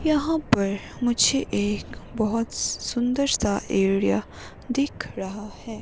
यहां पर मुझे एक बहुत सुंदर सा एरिया दिख रहा है।